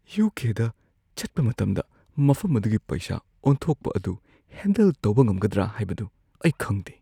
U. K. ꯗ ꯆꯠꯄ ꯃꯇꯝꯗ ꯃꯐꯝ ꯑꯗꯨꯒꯤ ꯄꯩꯁꯥ ꯑꯣꯟꯊꯣꯛꯄ ꯑꯗꯨ ꯍꯦꯟꯗꯜ ꯇꯧꯕ ꯉꯝꯒꯗ꯭ꯔꯥ ꯍꯥꯏꯕꯗꯨ ꯑꯩ ꯈꯪꯗꯦ꯫